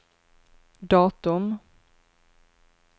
datum